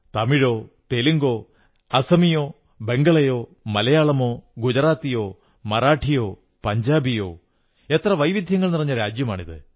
തമിഴോ തെലുങ്കോ അസമിയയോ ബംഗളയോ മലയാളമോ ഗുജറാത്തിയോ മറാഠിയോ പഞ്ചാബിയോ എത്ര വൈവിധ്യങ്ങൾ നിറഞ്ഞ രാജ്യമാണ്